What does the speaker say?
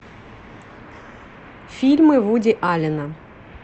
фильмы вуди аллена